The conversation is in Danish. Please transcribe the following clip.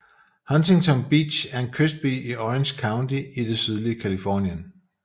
Huntington Beach er en kystby i Orange County i det sydlige Californien